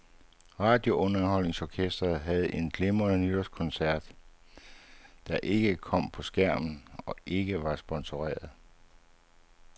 Radiounderholdningsorkestret havde en glimrende nytårskoncert, der ikke kom på skærmen, og ikke var sponsoreret.